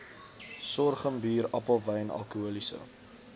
sorghumbier appelwyn alkoholiese